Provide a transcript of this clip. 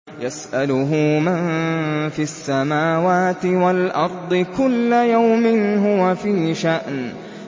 يَسْأَلُهُ مَن فِي السَّمَاوَاتِ وَالْأَرْضِ ۚ كُلَّ يَوْمٍ هُوَ فِي شَأْنٍ